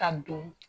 Ka don